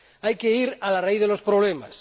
Hay que ir a la raíz de los problemas.